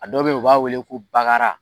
A dɔw be yen u b'a wele ko bakara